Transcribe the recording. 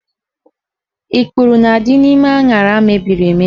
Ikpuru na-adị n'ime aṅara mebiri emebi